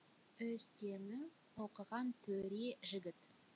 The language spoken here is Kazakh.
өз теңің оқыған төре жігіт